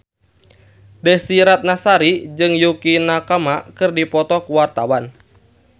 Desy Ratnasari jeung Yukie Nakama keur dipoto ku wartawan